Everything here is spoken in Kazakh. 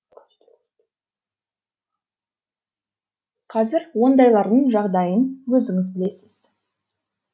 қазір ондайлардың жағдайын өзіңіз білесіз